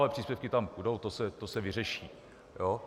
Ale příspěvky tam půjdou, to se vyřeší.